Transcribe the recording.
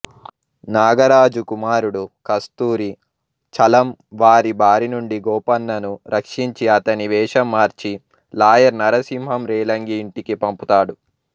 నాగరాజు కుమారుడు కస్తూరి చలం వారి బారినుండి గోపన్నను రక్షించి అతని వేషంమార్చి లాయర్ నరసింహం రేలంగి ఇంటికి పంపుతాడు